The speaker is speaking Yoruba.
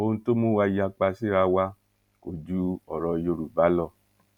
ohun tó ń mú wa yapa síra wa kò ju ọrọ yorùbá lọ